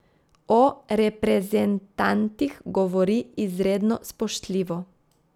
O reprezentantih govori izredno spoštljivo.